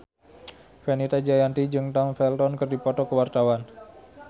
Fenita Jayanti jeung Tom Felton keur dipoto ku wartawan